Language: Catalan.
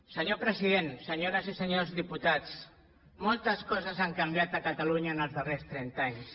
senyor president senyores i senyors diputats moltes coses han canviat a catalunya en els darrers trenta anys